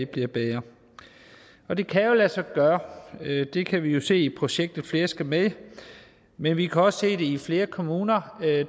bliver bedre og det kan jo lade sig gøre det kan vi se i projektet flere skal med men vi kan også i flere kommuner